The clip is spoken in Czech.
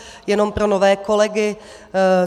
Jenom pro nové kolegy.